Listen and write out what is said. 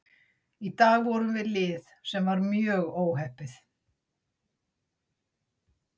Í dag vorum við lið sem var mjög óheppið.